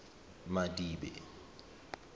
madibe